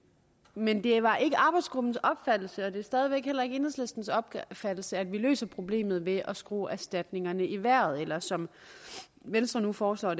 men det var ikke arbejdsgruppens opfattelse og det er stadig væk heller ikke enhedslistens opfattelse at vi løser problemet ved at skrue erstatningerne i vejret eller som venstre nu foreslår